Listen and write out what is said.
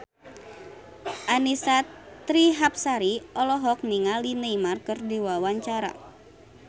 Annisa Trihapsari olohok ningali Neymar keur diwawancara